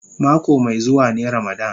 Mako mai zuwa ne ramadan.